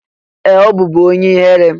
Ee! Ọ bụbu onye ihere.